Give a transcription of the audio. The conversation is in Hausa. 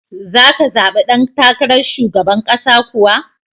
Za ka zabi dan takarar shugaban ƙasa kuwa?